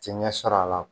Ti ɲɛ sɔrɔ a la